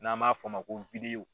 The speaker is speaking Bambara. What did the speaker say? N'an b'a fɔ ma ko VIDEO.